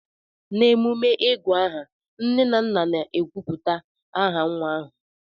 n'emume ịgù aha, nne na nna na-ekwupụta aha nwa ahụ